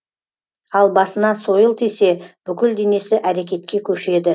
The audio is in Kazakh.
ал басына сойыл тисе бүкіл денесі әрекетке көшеді